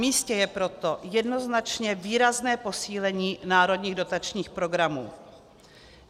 Namístě je proto jednoznačně výrazné posílení národních dotačních programů.